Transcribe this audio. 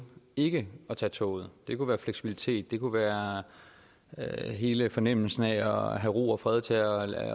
ikke at tage toget det kunne være fleksibilitet det kunne være hele fornemmelsen af at have ro og fred til at